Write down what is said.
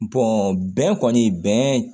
bɛn kɔni bɛn